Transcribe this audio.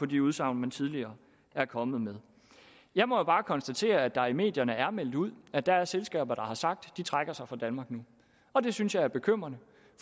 de udsagn man tidligere er kommet med jeg må jo bare konstatere at der i medierne er meldt ud at der er selskaber der har sagt at de trækker sig fra danmark nu og det synes jeg er bekymrende